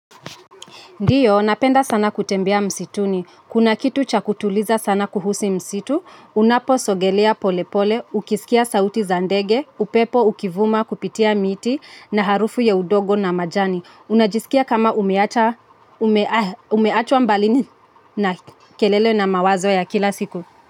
Ndiyo, napenda sana kutembea msituni. Kuna kitu cha kutuliza sana kuhusu msitu, unaposogelea polepole, ukisikia sauti za ndege, upepo ukivuma kupitia miti na harufu ya udongo na majani. Unajisikia kama umeacha, umeachwa mbalini na kelele na mawazo ya kila siku.